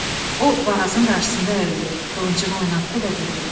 O Varazın qarşısında əyildi, qılıncını oynatdı və dedi: